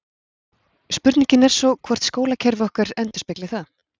Spurningin er svo hvort skólakerfi okkar endurspegli það?